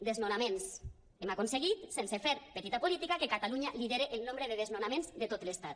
desnonaments hem aconseguit sense fer petita política que catalunya lidere el nombre de desnonaments de tot l’estat